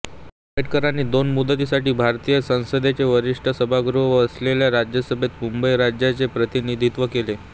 आंबेडकरांनी दोन मुदतींसाठी भारतीय संसदेचे वरिष्ठ सभागृह असलेल्या राज्यसभेत मुंबई राज्याचे प्रतिनिधित्व केले